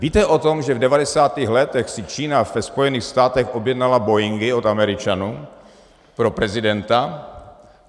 Víte o tom, že v 90. letech si Čína ve Spojených státech objednala boeingy od Američanů pro prezidenta?